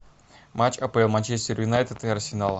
матч апл манчестер юнайтед и арсенала